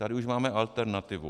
Tady už máme alternativu.